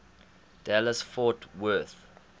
dallas fort worth